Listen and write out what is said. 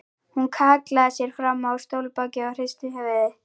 Hún hallaði sér fram á stólbak og hristi höfuðið.